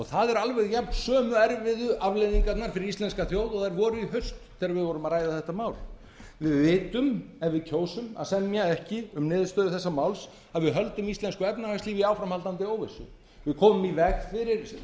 það eru alveg jafn sömu erfiðu afleiðingarnar fyrir íslenska þjóð og þær voru í haust þegar við vorum að ræða þetta mál því við vitum að ef við kjósum að semja ekki um niðurstöðu þessa máls að við höldum íslensku efnahagslífi í áframhaldandi óvissu við komum í